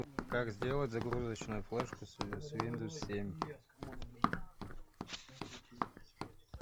как сделать загрузочную флешку с виндовс семь